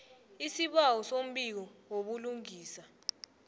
isibawo sombiko wobulungiswa